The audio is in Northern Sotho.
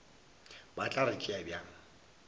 ba tla re tšea bjang